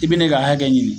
I bi n'i ka hakɛ ɲini